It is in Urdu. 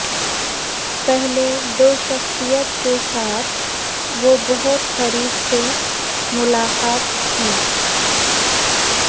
پہلے دو شخصیات کے ساتھ وہ بہت قریب سے ملاقات کی